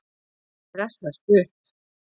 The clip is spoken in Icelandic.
Ég stressast upp.